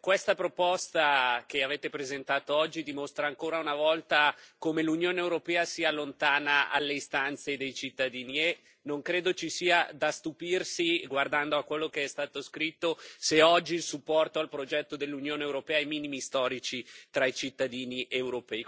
questa proposta che avete presentato oggi dimostra ancora una volta come l'Unione europea sia lontana dalle istanze dei cittadini e non credo ci sia da stupirsi guardando a quello che è stato scritto se oggi il supporto al progetto dell'Unione europea è ai minimi storici tra i cittadini europei.